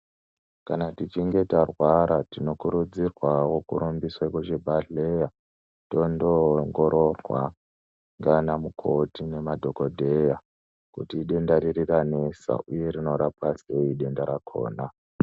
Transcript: Kana tichinge tarwara tinokurudzirwawo kurumbiswa kuzvibhelera tonoongoroorwa ndiana mukoti nemadhokodheya kuti idenda riri ranesa uye rinorapwa sei denda rakona .